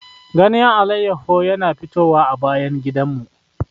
Ganyen alayyahu yana fitowa a bayan gidanmu.